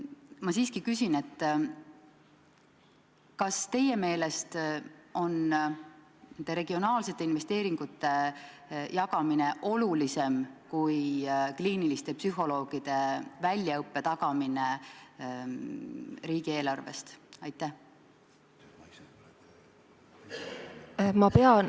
Ma siiski küsin: kas teie meelest on nende regionaalsete investeeringute jagamine olulisem kui kliiniliste psühholoogide väljaõppe tagamine?